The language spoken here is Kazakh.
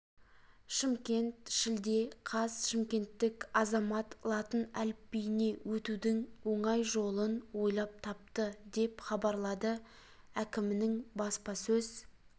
шымкент шілде қаз шымкенттік азамат латын әліпбиіне өтудің оңай жолын ойлап тапты деп хабарлады әкімінің баспасөз